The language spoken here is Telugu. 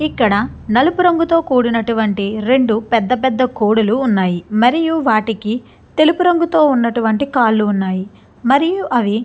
ఇక్కడ నలుపు రంగుతో కూడినటువంటి రెండు పెద్ద పెద్ద కోడులు ఉన్నాయి మరియు వాటికి తెలుపు రంగుతో ఉన్నటువంటి కాళ్లు ఉన్నాయి మరియు అవి.